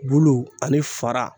Bulu ani fara